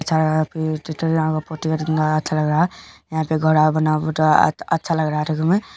यहा पे अच्छा लग रहा यहा पे घर अच्छा लग रहा था तुम् हैं--